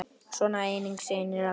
Svona eiga synir að vera.